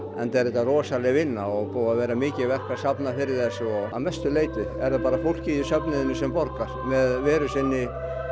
enda er þetta rosaleg vinna og búið að vera mikið verk að safna fyrir þessu að mestu leyti er það bara fólkið í söfnuðinum sem borgar með veru sinni